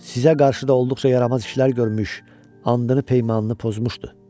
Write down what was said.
Sizə qarşı da olduqca yaramaz işlər görmüş, andını-peymanını pozmuşdu.